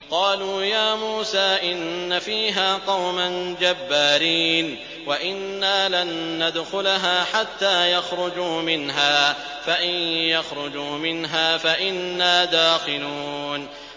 قَالُوا يَا مُوسَىٰ إِنَّ فِيهَا قَوْمًا جَبَّارِينَ وَإِنَّا لَن نَّدْخُلَهَا حَتَّىٰ يَخْرُجُوا مِنْهَا فَإِن يَخْرُجُوا مِنْهَا فَإِنَّا دَاخِلُونَ